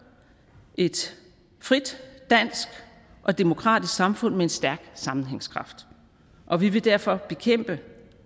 et frit dansk og demokratisk samfund med en stærk sammenhængskraft og vi vil derfor bekæmpe